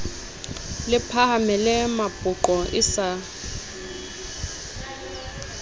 le phahamele mapoqo e sa